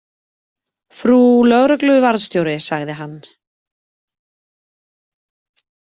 Frú lögregluvarðstjóri, sagði hann.